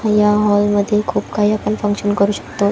या हॉल मध्ये खूप काही आपण फंक्शन करू शकतो.